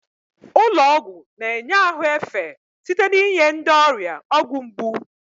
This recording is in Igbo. Ụlọ ọgwụ na-enye ahụ efe site n'inye ndị ọrịa ọgwụ mgbu.